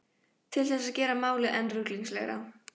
Til þess að gera málið enn ruglingslegra.